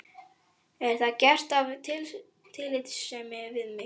Er þetta gert af tillitssemi við mig?